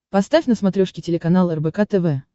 поставь на смотрешке телеканал рбк тв